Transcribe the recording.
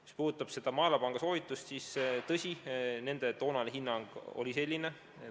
Mis puudutab seda Maailmapanga soovitust, siis tõsi, nende toonane hinnang oli selline.